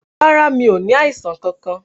Rárá, mí ó ní àìsàn kankan